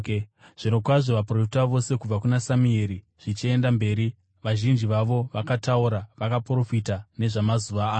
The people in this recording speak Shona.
“Zvirokwazvo, vaprofita vose kubva kuna Samueri zvichienda mberi, vazhinji vavo vakataura, vakaprofita nezvamazuva ano.